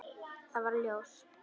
Nú varð ljós.